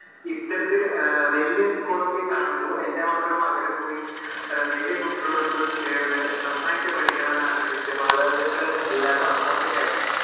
ഇത്തരത്തിൽ വലിയ school ഒക്കെ കാണുമ്പോ, എന്റെ മക്കൾ അവിടെ പോയി വലിയ കുട്ടികളോടൊപ്പം ചേർന്ന് നന്നായിട്ടു പഠിക്കണം എന്ന് ആഗ്രഹിച്ചു മാതാപിതാക്കൾ എല്ലാരും അങ്ങോട്ടേക്ക് അയക്കുന്നു.